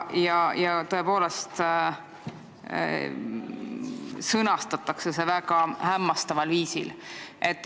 See on tõepoolest sõnastatud väga hämmastaval viisil.